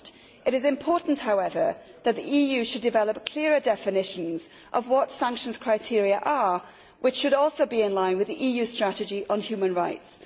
It is important, however, that the EU should develop clearer definitions of what sanctions criteria are, which should also be in line with the EU's strategy on human rights.